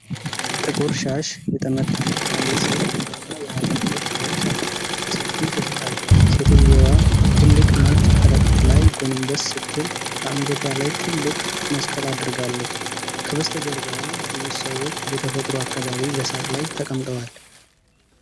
ጥቁር ሻሽ የጠመጠመች አንዲት ሴት ቡናማ የሀገር ልብስ ለብሳ በሰፊው ትስቃለች። ሴትየዋ ትልቅ ነጭ ከረጢት ላይ ጎንበስ ስትል፣ በአንገቷ ላይ ትልቅ መስቀል አድርጋለች። ከበስተጀርባዋ ብዙ ሰዎች በተፈጥሮ አካባቢ በሳር ላይ ተቀምጠዋል።